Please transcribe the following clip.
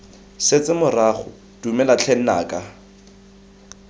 setse morago dumela tlhe nnaka